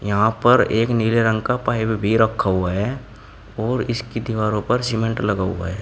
यहां पर एक नीले रंग का पाइप भी रखा हुआ है और इसकी दीवारों पर सीमेंट लगा हुआ है।